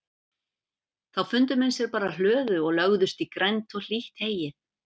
Finnst Gerður létt og ljúf manneskja- skapstór þegar því er að skipta.